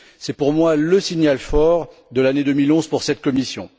C'est, pour moi, le signal fort de l'année 2011 pour cette commission.